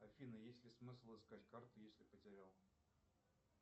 афина есть ли смысл искать карту если потерял